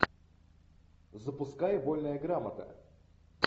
запускай вольная грамота